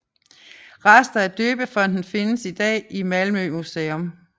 Rester af døbefonten findes i dag i Malmö Museum